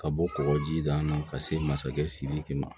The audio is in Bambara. Ka bɔ kɔkɔjida la ka se masakɛ sidiki ma